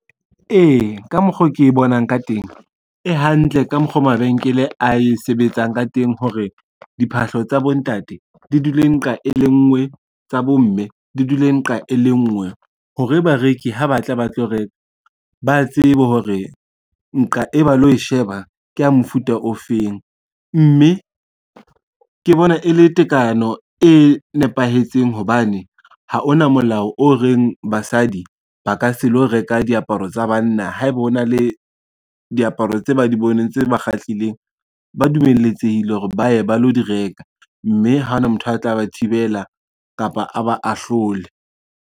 Ee ka mokgo ke bonang ka teng, ehantle ka mokgwa o mabenkele a e sebetsang ka teng hore, diphahlo tsa bontate di dule nqa e le nngwe, tsa bomme di dule nqa e le nngwe hore bareki ha ba tla ba tlo reka, ba tsebe hore nqa e ba lo sheba kea mofuta ofeng, mme ke bona e le tekano e nepahetseng hobane ha ona molao o reng basadi ba ka se lo reka diaparo tsa banna, haeba ho na le diaparo tse ba di boneng tse ba kgahlileng, ba dumeletsehile hore ba ye ba lo di reka, mme ha ona motho a tla ba thibela kapa a ba ahlole.